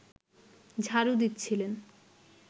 ঝাড়ু দিচ্ছিলেন